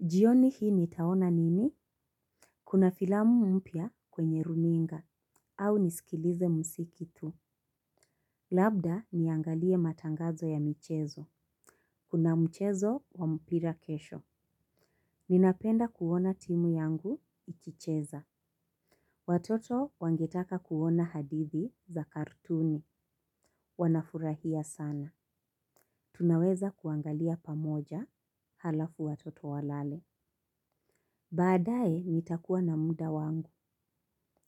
Jioni hii nitaona nini? Kuna filamu mpya kwenye runinga. Au nisikilize mziki tu. Labda niangalie matangazo ya michezo. Kuna mchezo wa mpira kesho. Ninapenda kuona timu yangu ikicheza. Watoto wangetaka kuona hadithi za katuni. Wanafurahia sana. Tunaweza kuangalia pamoja halafu watoto walale. Baadaye nitakuwa na muda wangu.